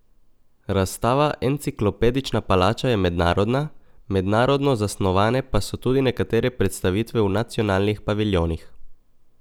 Razstava Enciklopedična palača je mednarodna, mednarodno zasnovane pa so tudi nekatere predstavitve v nacionalnih paviljonih.